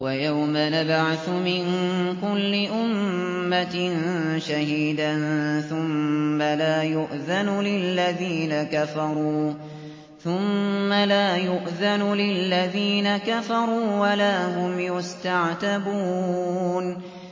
وَيَوْمَ نَبْعَثُ مِن كُلِّ أُمَّةٍ شَهِيدًا ثُمَّ لَا يُؤْذَنُ لِلَّذِينَ كَفَرُوا وَلَا هُمْ يُسْتَعْتَبُونَ